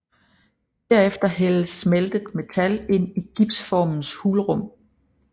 Derefter hældes smeltet metal ind i gipsformens hulrum